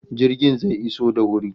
Jirgin zai iso da wuri